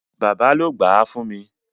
Bàbá ló gbáà fún mi.